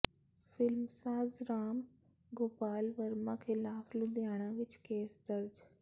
ਫਿਲਮਸਾਜ਼ ਰਾਮ ਗੋਪਾਲ ਵਰਮਾ ਖ਼ਿਲਾਫ਼ ਲੁਧਿਆਣਾ ਵਿੱਚ ਕੇਸ ਦਰਜ